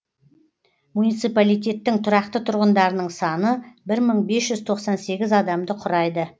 муниципалитеттің тұрақты тұрғындарының саны бір мың бес жүз тоқсан сегіз адамды құрайды